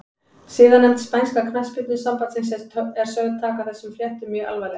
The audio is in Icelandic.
Siðanefnd spænska knattspyrnusambandsins er sögð taka þessum fréttum mjög alvarlega.